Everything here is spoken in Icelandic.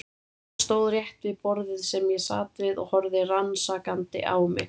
Hann stóð rétt við borðið sem ég sat við og horfði rannsakandi á mig.